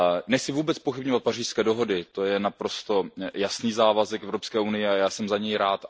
Nechci vůbec zpochybňovat Pařížské dohody, to je naprosto jasný závazek Evropské unie a já jsem za něj rád.